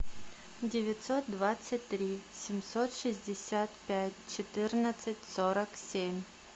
девятьсот двадцать три семьсот шестьдесят пять четырнадцать сорок семь